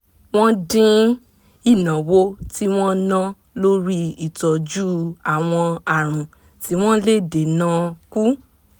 wọ́n dín ìnáwó tí wọ́n ná lórí ìtọ́jú àwọn àrùn tí wọ́n lè dènà kù